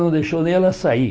Não deixou nem ela sair.